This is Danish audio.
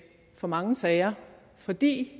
for mange sager fordi